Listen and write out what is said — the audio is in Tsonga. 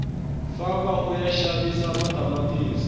famba uya xavisa matamatisi